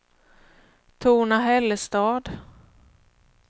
Torna-Hällestad